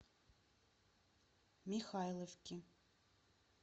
михайловки